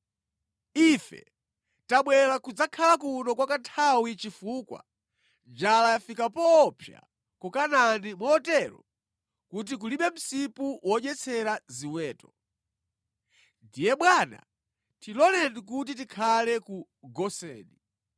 Ife tabwera kudzakhala kuno kwa kanthawi chifukwa njala yafika poopsa ku Kanaani motero kuti kulibe msipu wodyetsera ziweto. Ndiye bwana tiloleni kuti tikhale ku Goseni.”